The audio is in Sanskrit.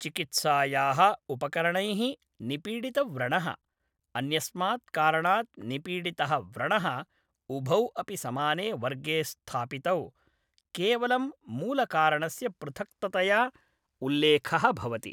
चिकित्सायाः उपकरणैः निपीडितव्रणः, अन्यस्मात् कारणात् निपीडितः व्रणः उभौ अपि समाने वर्गे स्थापितौ, केवलं मूलकारणस्य पृथक्ततया उल्लेखः भवति।